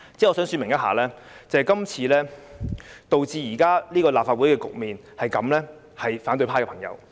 我想說明一下，導致立法會現時這個局面的正是反對派的朋友。